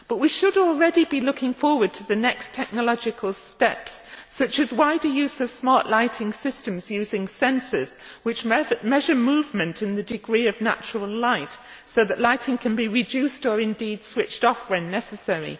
We should, however, already be looking forward to the next technological steps, such as wider use of smart lighting systems using sensors, which measure movement and the degree of natural light so that lighting can be reduced or indeed switched off when necessary.